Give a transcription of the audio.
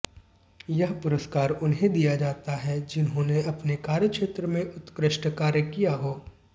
यह पुरस्कार उन्हें दिया जाता है जिन्होंने अपने कार्यक्षेत्र में उत्कृष्ट कार्य किया हो